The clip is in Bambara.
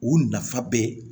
U nafa bɛ